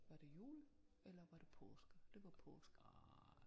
Var det jul eller var det påske det var påske